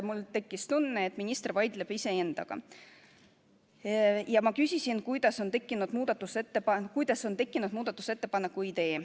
Mul tekkis tunne, et minister vaidleb iseendaga, ja ma küsisin, kuidas on tekkinud muudatusettepaneku idee.